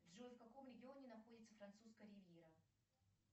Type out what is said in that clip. джой в каком регионе находится французская ривьера